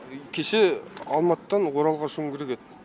кеше алматыдан оралға ұшуым керек еді